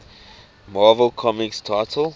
marvel comics titles